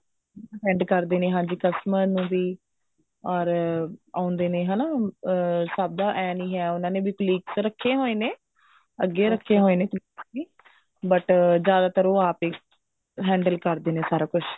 attend ਕਰਦੇ ਨੇ ਹਾਂਜੀ customer ਨੂੰ ਵੀ ਅਰ ਆਉਂਦੇ ਨੇ ਹਨਾ ਅਹ ਸਭ ਦਾ ਐਂ ਨਹੀਂ ਹੈ ਵੀ ਉਹਨਾ ਨੇ colleagues ਰੱਖੇ ਹੋਏ ਨੇ ਅੱਗੇ ਰੱਖੇ ਹੋਏ ਨੇ colleagues ਵੀ but ਜਿਆਦਾਤਰ ਉਹ ਆਪ ਹੀ handle ਕਰਦੇ ਨੇ ਸਾਰਾ ਕੁੱਝ